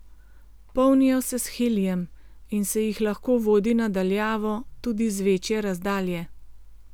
Polnijo se s helijem in se jih lahko vodi na daljavo tudi z večje razdalje.